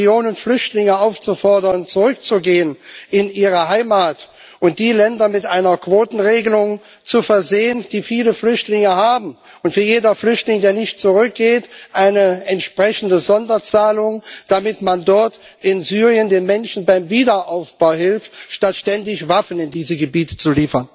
Jetzt die Millionen Flüchtlinge aufzufordern, zurückzugehen in ihre Heimat, und die Länder mit einer Quotenregelung zu versehen, die viele Flüchtlinge haben, und für jeden Flüchtling, der nicht zurückgeht, eine entsprechende Sonderzahlung vorzusehen, damit man dort in Syrien den Menschen beim Wiederaufbau hilft, statt ständig Waffen in diese Gebiete zu liefern?